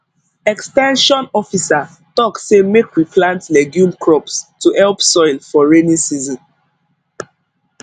ex ten sion officer talk say make we plant legume crops to help soil for rainy season